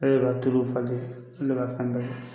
b'a tuluw falen an ne b'a fɛn bɛɛ kɛ.